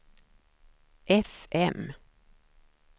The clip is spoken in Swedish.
fm